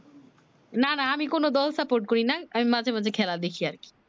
না না আমি কোন দল support করি না আমি মাঝে মধ্যে খেলা দেখি আর কি